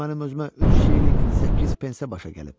O mənə özümə 3 şillinq 8 pensə başa gəlib.